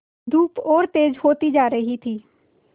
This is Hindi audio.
धूप और तेज होती जा रही थी